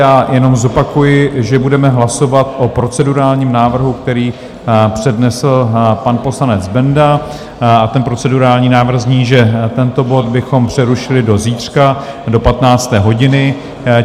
Já jenom zopakuji, že budeme hlasovat o procedurálním návrhu, který přednesl pan poslanec Benda, a ten procedurální návrh zní, že tento bod bychom přerušili do zítřka do 15. hodiny.